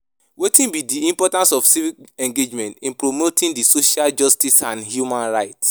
Wetin be di importance of civic engagement in promoting di social justice and human rights?